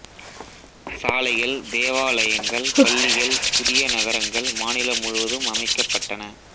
சாலைகள் தேவாலயங்கள் பள்ளிகள் புதிய நகரங்கள் மாநிலம் முழுவதும் அமைக்கப்பட்டன